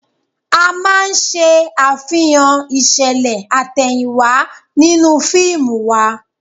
A máa ṣe àfihàn ìṣẹ̀lẹ̀ àtẹ̀yìnwá nínú fíìmù wa